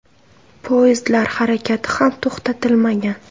Poyezdlar harakati ham to‘xtatilmagan.